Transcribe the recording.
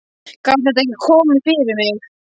Gat þetta ekki komið fyrir mig?